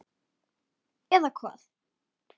Eða hvað.?